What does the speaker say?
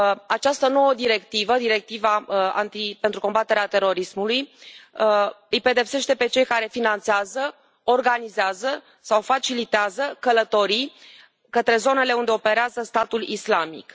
Această nouă directivă, directiva pentru combaterea terorismului, îi pedepsește pe cei care finanțează, organizează sau facilitează călătorii către zonele unde operează Statul Islamic.